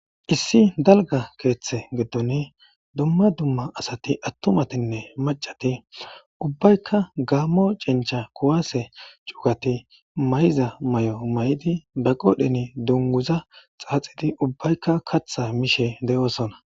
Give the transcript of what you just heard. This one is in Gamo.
issi dalga keeththe giddon duma duma asati attumatinne macati ubbaykka gaammo cincha kuwaase cugati may7iza may7o may7idi ba qodheni dunguza xaaxidi ubbaykka katha mishe de7oosona